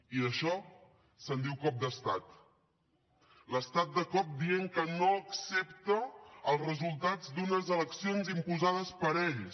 i d’això se’n diu cop d’estat l’estat de cop dient que no accepta els resultats d’unes eleccions imposades per ells